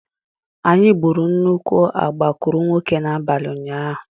Anyị gburu nnukwu agbakụrụnwokē n'abalị ụnyaahụ.